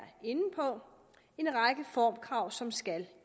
inde på en række formkrav som skal